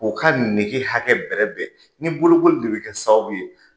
K'u ka nege hakɛ bɛrɛ bɛn, ni bolokoli de bɛ kɛ sababu ye